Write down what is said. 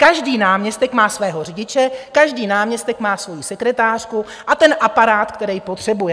Každý náměstek má svého řidiče, každý náměstek má svoji sekretářku a ten aparát, který potřebuje.